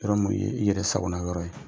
Yɔrɔ minnu ye i yɛrɛ sagona yɔrɔ ye,